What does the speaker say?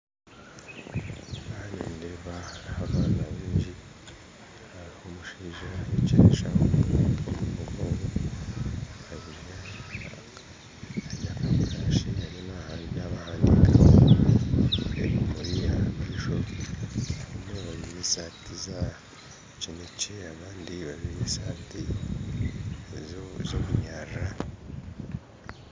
Ahab nindeeba abaana baingi, hariho omushaija ahekire eshaho omu mugongo. Akwitse burashi ariyo naabahandiika ebimuri aha maisho bajwire esaati za kinekye abandi bajwire ez'obunyarara